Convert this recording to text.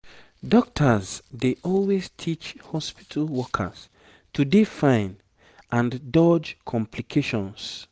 dokita's dey always teach hospitu workers to dey fine and dodge complications